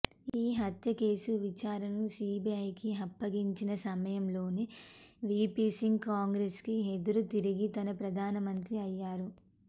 ఈ హత్యకేసు విచారణను సీబీఐకి అప్పగించిన సమయంలోనే వీపీసింగ్ కాంగ్రెస్కి ఎదురుతిరిగి తానే ప్రధానమంత్రి అయ్యారు